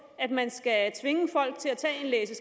at man skal tvinge folk til at tage en læse